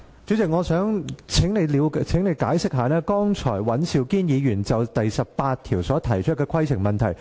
主席，我想請你就尹兆堅議員剛才就《議事規則》第18條提出的規程問題作出解釋。